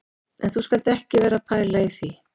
En þú skalt ekki vera að pæla í því